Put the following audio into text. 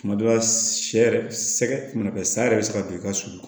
Tuma dɔ la sɛ yɛrɛ sɛgɛ tuma bɛɛ saya yɛrɛ bɛ se ka don i ka sunun